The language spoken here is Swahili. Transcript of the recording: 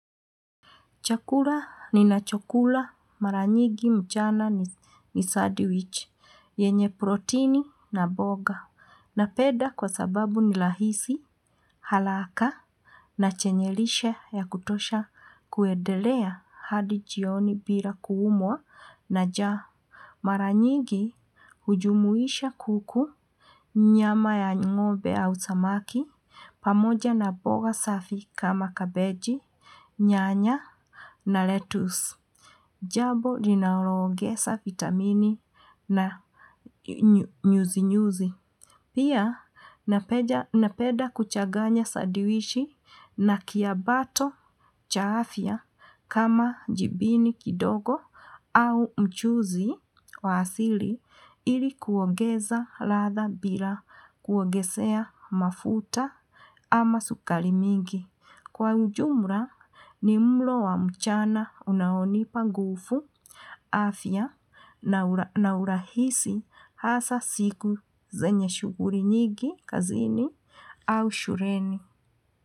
Chakula ninachokula mara nyingi mchana ni sadiwich, yenye protini na boga. Napeda kwa sababu ni lahisi, halaka na chenye lishe ya kutosha kuedelea hadi jioni bira kuumwa na jaa. Mara nyigi hujumuisha kuku, nyama ya ng'ombe au samaki, pamoja na boga safi kama kabeji, nyanya na lettuce. Jabo linaloogesa vitamini na nyuzi nyuzi. Pia napeda kuchaganya sadiwishi na kiabato cha afya kama jibini kidogo au mchuzi wa asili ili kuongeza ladha bila kuogesea mafuta ama sukari mingi. Kwa ujumra ni mlo wa mchana unaonipa nguvu, afya na urahisi hasa siku zenye shuguri nyigi kazini au shureni.